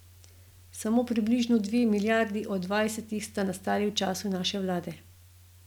Samo približno dve milijardi od dvajsetih sta nastali v času naše vlade.